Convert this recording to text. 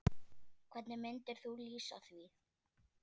Hvernig myndir þú lýsa því?